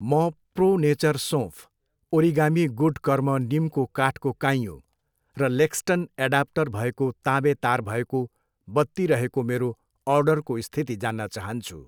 म pro nature सोँफ, origami good कर्म निमको काठको काइँयो र लेक्सटन एडाप्टर भएको ताँबे तार भएको बत्ती रहेको मेरो अर्डरको स्थिति जान्न चाहन्छु।